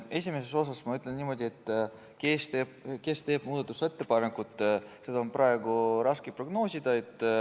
Esimese küsimuse kohta ma ütlen niimoodi, et kes teeb muudatusettepaneku, seda on praegu raske prognoosida.